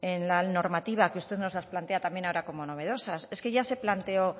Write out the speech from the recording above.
en la normativa que usted nos la plantea también ahora como novedosas es que ya se planteó